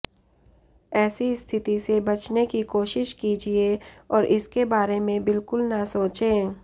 ऐसी स्थिति से बचने की कोशिश कीजिए और इसके बारे में बिल्कुल न सोचें